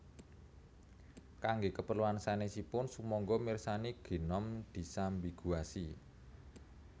Kangge kapreluan sanèsipun sumangga mirsani Gnome disambiguasi